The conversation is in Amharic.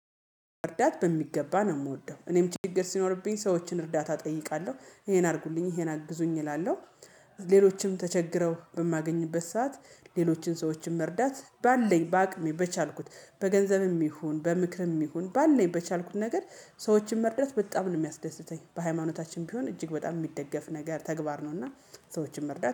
መርዳታ በሚገባ ነው የምወደው እኔም ችግር ሲኖርብኝ ሰዎችን እርዳታ እጠይቃለሁ ይሄን አድርጉልኝ ይሄን አግዙኝ እላለሁ። ሌሎችም ተቸግረው በማገኝበት ሰዓት ሌሎችን ሰዎችን መርዳት ባለኝ በአቅሜ በቻልኩት በገንዘብም ይሁን በምክርም ይሁን ባለኝ በቻልኩት ነገር ሰዎችን መርዳት በጣም ነው የሚያስደስተኝ በሃይማኖታችም ቢሆን እጅግ በጣም የሚደገፍ ነገር ተግባር ነው። እና ሰዎችን መርዳት